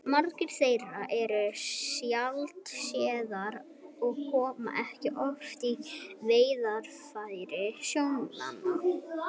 Margar þeirra eru sjaldséðar og koma ekki oft í veiðarfæri sjómanna.